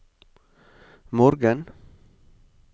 morgen